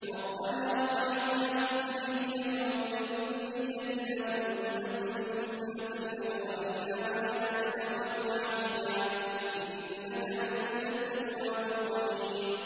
رَبَّنَا وَاجْعَلْنَا مُسْلِمَيْنِ لَكَ وَمِن ذُرِّيَّتِنَا أُمَّةً مُّسْلِمَةً لَّكَ وَأَرِنَا مَنَاسِكَنَا وَتُبْ عَلَيْنَا ۖ إِنَّكَ أَنتَ التَّوَّابُ الرَّحِيمُ